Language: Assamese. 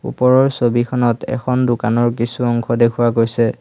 ওপৰৰ ছবিখনত এখন দোকানৰ কিছু অংশ দেখুওৱা গৈছে।